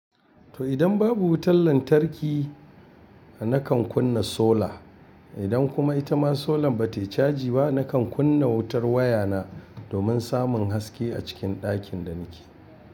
To idan babu wutar lantarki nakan kunna sola. Idan kuma itama solan ba ta yi caji ba, nakan kunna wutar waya na domin samun haske a cikin dakin da nake.